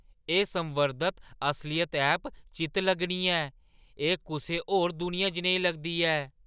एह् संवर्धत असलियत ऐप चित्त-लग्गनी ऐ। एह् कुसै होर दुनिया जनेही लगदी ऐ।